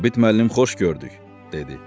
Sabit müəllim xoş gördük, dedi.